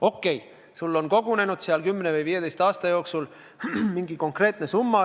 Okei, sul on 10 või 15 aasta jooksul kogunenud sinna sambasse mingi konkreetne summa.